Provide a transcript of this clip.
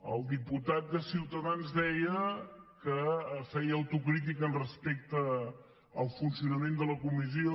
el diputat de ciutadans deia que feia autocrítica respecte al funcionament de la comissió